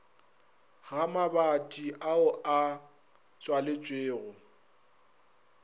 ga mabati ao a tswaletšwego